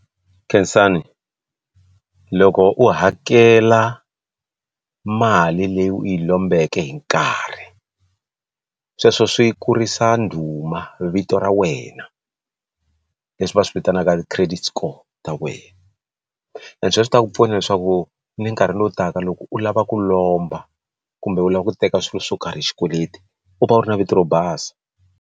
khensani loko u hakela mali leyi u yi lombeke hi nkarhi sweswo swi kurisa ndhuma vito ra wena leswi va swi vitanaka ti credit score ta wena and sweswo swi ta ku pfuna leswaku ni nkarhi lowu taka loko u lava ku lomba kumbe u lava ku teka swilo swo karhi hi xikweleti u va u ri na vito ra basa.